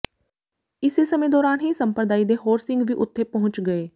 ਇਸੇ ਸਮੇਂ ਦੌਰਾਨ ਹੀ ਸੰਪਰਦਾਇ ਦੇ ਹੋਰ ਸਿੰਘ ਵੀ ਉਥੇ ਪਹੁੰਚ ਗਏ